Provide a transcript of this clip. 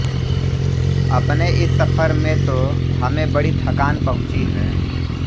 अपने इस सफ़र में तो हमें बड़ी थकान पहुँची है